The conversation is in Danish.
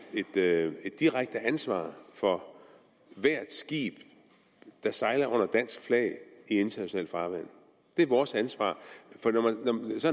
direkte ansvar for hvert skib der sejler under dansk flag i internationalt farvand det er vores ansvar